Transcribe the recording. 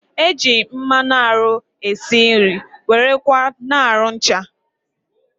E ji mmanụ arụ e si nri, wéré kwa na arụ ncha